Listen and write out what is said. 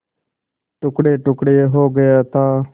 टुकड़ेटुकड़े हो गया था